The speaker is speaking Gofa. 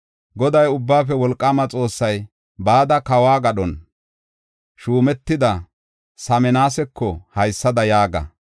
Goday, Ubbaafe Wolqaama Xoossay, “Bada kawo gadhon shuumetida Saminasako haysada yaaga;